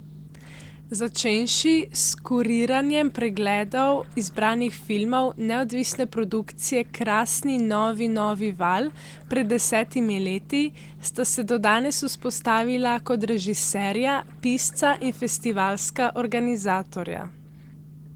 Začenši s kuriranjem pregledov izbranih filmov neodvisne produkcije Krasni novi novi val pred desetimi leti sta se do danes vzpostavila kot režiserja, pisca in festivalska organizatorja.